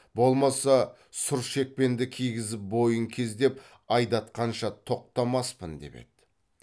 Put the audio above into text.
болмаса сұр шекпенді кигізіп бойын кездеп айдатқанша тоқтамаспын деп еді